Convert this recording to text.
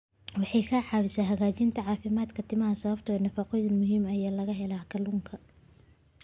Waxay ka caawisaa hagaajinta caafimaadka timaha sababtoo ah nafaqooyinka muhiimka ah ee laga helo kalluunka.